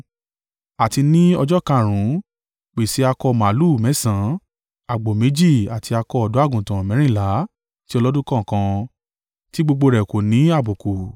“ ‘Àti ní ọjọ́ karùn-ún, pèsè akọ màlúù mẹ́sàn-án, àgbò méjì àti akọ ọ̀dọ́-àgùntàn mẹ́rìnlá ti ọlọ́dún kọ̀ọ̀kan, tí gbogbo rẹ̀ kò ní àbùkù.